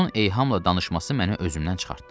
Onun eyhamla danışması məni özümdən çıxartdı.